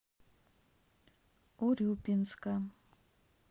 урюпинска